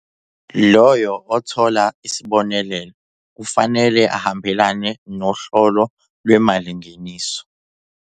Loyo othola isibonelelo kufanele ahambelane nohlolo lwemalingeniso.